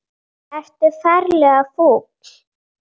Ertu ferlega fúll?